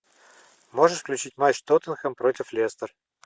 можешь включить матч тоттенхэм против лестер